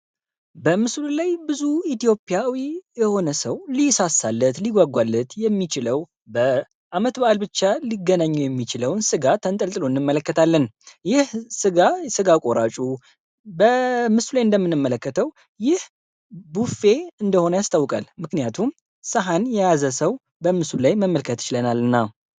በምሱል ላይ ብዙ ኢትዮጵያዊ የሆነ ሰው ሊይሳሳለት ሊጓጓለት የሚችለው በዓመት በዓል ብቻ ሊገነኙ የሚችለውን ስጋ ተንጠልጥሉ እንመለከታልን። ይህ ጋ ስጋ ቆራጩ በምሱ ላይ እንደምንመለከተው ይህ ቡፌ እንደሆነ ያስተውቀል። ምክንያቱም ሰሃን የያዘ ሰው በምሱል ላይ መመለከት እችለናል።